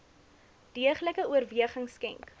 deeglike oorweging skenk